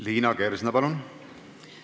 Liina Kersna, palun!